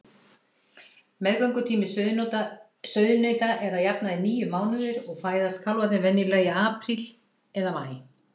Meðgöngutími sauðnauta er að jafnaði níu mánuðir og fæðast kálfarnir venjulega í apríl eða maí.